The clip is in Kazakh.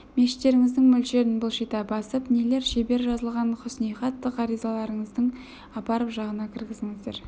мешіттеріңіздің мөрлерін былшита басып нелер шебер жазылған хұснихат ғаризаларыңызды апарып жағына кіргіздіңіздер